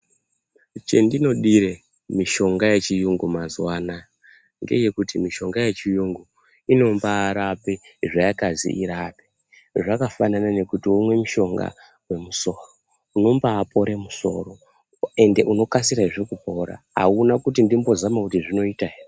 Chendinodire mishonga yechiyungu mazuva anaya. Ngechekuti mishonga yechiyungu inombarape zvayakazi irape. Zvakafanana nekuti omwe mushonga vemusoro unomba pore musoro ende unokasirezve kupora hauna kuti ndimbozama kuti zvinoita ere.